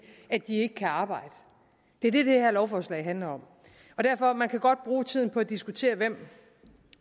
at de ikke kan arbejde det er det det her lovforslag handler om derfor man kan godt bruge tiden på at diskutere hvem